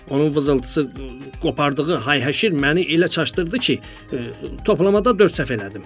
Onun vızıltısı, qopardığı hayhəşir məni elə çaşdırdı ki, toplamada dörd səhv elədim.